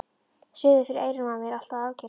Suðið fyrir eyrunum á mér er alltaf að ágerast.